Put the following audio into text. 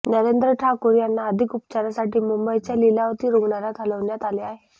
नरेंद्र ठाकूर यांना अधिक उपचारासाठी मुंबईच्या लीलावती रुग्णालयात हलविण्यात आले आहे